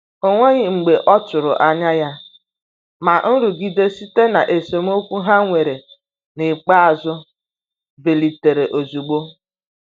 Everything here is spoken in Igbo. O nweghị mgbe ọtụrụ anya ya, ma nrụgide site na esemokwu ha nwere n'ikpeazụ bilitere ozugbo.